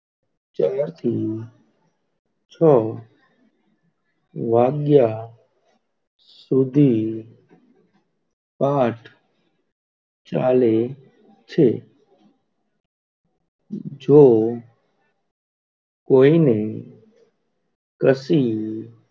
સુધી પાઠ ચાલે છે જો કોઈને કશી